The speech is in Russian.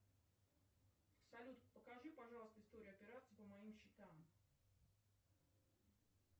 салют покажи пожалуйста историю операций по моим счетам